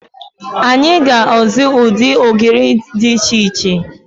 Anyị ga-azụ ụdị ogiri dị iche iche.